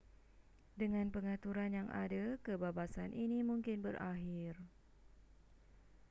dengan pengaturan yang ada kebabasan ini mungkin berakhir